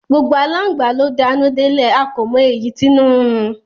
Gbogbo alangba lo d'anu delẹ, a ko mọ èyí t'inu nrun